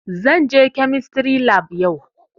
Zan je kemistry lab yau